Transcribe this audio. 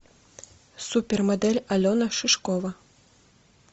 супермодель алена шишкова